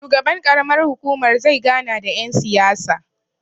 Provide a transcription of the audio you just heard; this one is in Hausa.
shugaban ƙaramar hukumar zai gana da yansiyasa